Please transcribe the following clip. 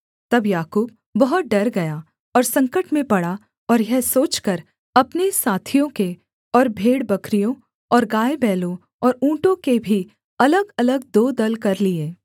तब याकूब बहुत डर गया और संकट में पड़ा और यह सोचकर अपने साथियों के और भेड़बकरियों और गायबैलों और ऊँटों के भी अलगअलग दो दल कर लिये